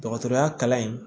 Dɔgɔtɔrɔya kalan in